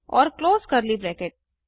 और close curly bracket